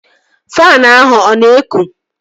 Faanụ ahụ ọ na-ekụ?